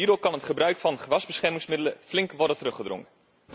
Hierdoor kan het gebruik van gewasbeschermingsmiddelen flink worden teruggedrongen.